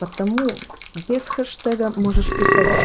потому без хэштега можешь писать